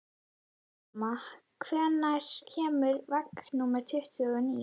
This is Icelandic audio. Telma, hvenær kemur vagn númer tuttugu og níu?